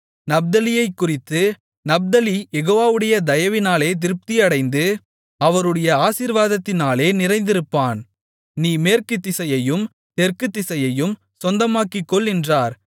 நப்தலியைக்குறித்து Naphtali யெகோவாவுடைய தயவினாலே திருப்தியடைந்து அவருடைய ஆசீர்வாதத்தினாலே நிறைந்திருப்பான் நீ மேற்குத் திசையையும் தெற்குத் திசையையும் சொந்தமாக்கிக்கொள் என்றான்